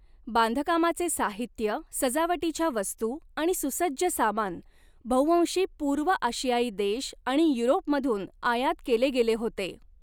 बांधकामाचे साहित्य, सजावटीच्या वस्तू आणि सुसज्ज सामान बव्हंशी पूर्व आशियाई देश आणि युरोपमधून आयात केले गेले होते.